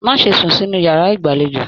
Má ṣe sún sínú yàrá ìgbàlèjo